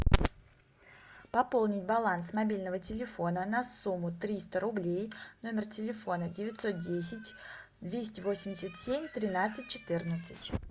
пополнить баланс мобильного телефона на сумму триста рублей номер телефона девятьсот десять двести восемьдесят семь тринадцать четырнадцать